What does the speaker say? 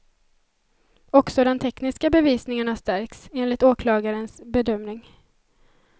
Också den tekniska bevisningen har stärkts, enligt åklagarens bedömning.